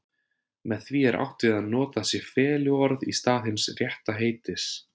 Með því er átt við að notað sé feluorð í stað hins rétta heitis.